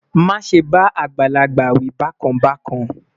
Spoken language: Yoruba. má sé bá àgbàlagbà wí bákan bákan